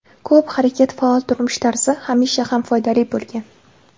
Ko‘p harakat Faol turmush tarzi hamisha ham foydali bo‘lgan.